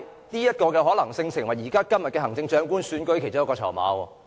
這項可能性亦成為現時行政長官選舉的其中一個籌碼。